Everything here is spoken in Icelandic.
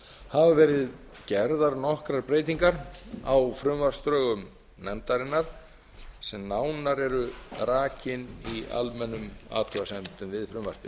hafa verið gerðar nokkrar breytingar á frumvarpsdrögum nefndarinnar sem nánar eru rakin í almennum athugasemdum við frumvarpið